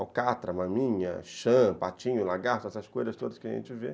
Alcatra, maminha, chã, patinho, lagarto, essas coisas todas que a gente vê.